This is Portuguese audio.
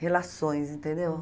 Relações, entendeu?